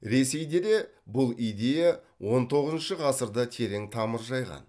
ресейде де бұл идея он тоғызыншы ғасырда терең тамыр жайған